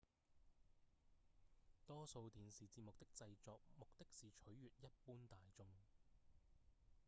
多數電視節目的製作目的是取悅一般大眾